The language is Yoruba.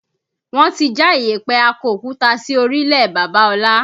Wọn ti já ìyẹ̀pẹ̀ akọ òkúta sí orílẹ̀ Bàbá ọlá